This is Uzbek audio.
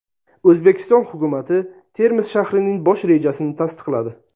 O‘zbekiston hukumati Termiz shahrining bosh rejasini tasdiqladi.